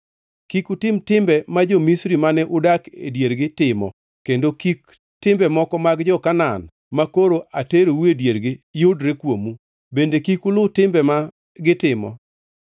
Kik utim timbe ma jo-Misri mane udak e diergi timo kendo kik timbe moko mag jo-Kanaan makoro aterou e diergi yudre kuomu. Bende kik uluw timbe ma gitimo.